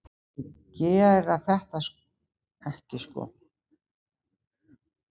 Þeir gera þetta ekki sko.